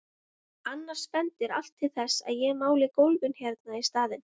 Annars bendir allt til þess að ég máli gólfið hérna í staðinn.